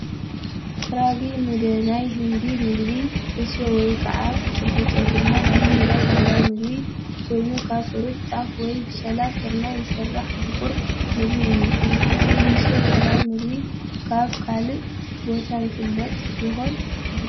ራጊ ሙደ ናይ ህንዲ ምግቢ ፣ ሕሱዮ ወይ ከዓ ጭብጦ ድማ ናይ ትግራይ ባህላዊ ምግቢ ኮይኑ ፣ካብ ሕሩጭ ጣፍ ወይ ምሸላን ስርናይን ዝስራሕ ምቁር ምግቢ እዩ፡፡ ጭብጦ ወይ ሕስዮ ባህላዊ ምግቢ ኣብ ካሊእ ቦታ ይፍለጥ ይኾን?